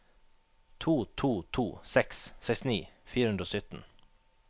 to to to seks sekstini fire hundre og sytten